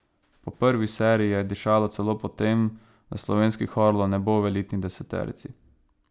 Po prvi seriji je dišalo celo po tem, da slovenskih orlov ne bo v elitni deseterici.